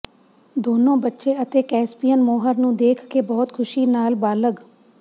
ਦੋਨੋ ਬੱਚੇ ਅਤੇ ਕੈਸਪੀਅਨ ਮੋਹਰ ਨੂੰ ਦੇਖ ਕੇ ਬਹੁਤ ਖ਼ੁਸ਼ੀ ਨਾਲ ਬਾਲਗ